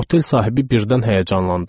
Otel sahibi birdən həyəcanlandı.